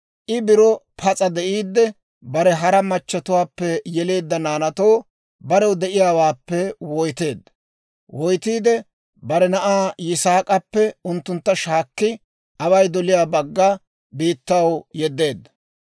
Shin I biro pas'a de'iidde, bare hara machatuwaappe yeleedda naanaatoo barew de'iyaawaappe woyteedda. Bare na'aa Yisaak'appe unttuntta shaakki, away doliyaa bagga biittaw yeddeedda.